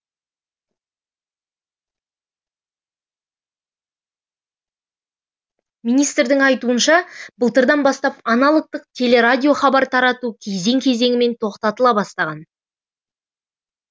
министрдің айтуынша былтырдан бастап аналогтық телерадиохабар тарату кезең кезеңімен тоқтатыла бастаған